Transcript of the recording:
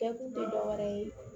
Kɛ kun tɛ dɔ wɛrɛ ye